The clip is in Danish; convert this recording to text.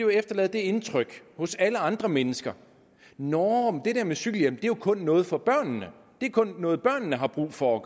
vil efterlade det indtryk hos alle andre mennesker nåh det der med cykelhjelm er jo kun noget for børnene det er kun noget børnene har brug for at